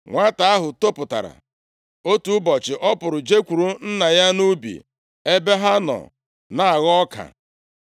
Nwata ahụ toputara, otu ụbọchị ọ pụrụ jekwuru nna ya nʼubi, ebe ha nọ na-aghọ ọka.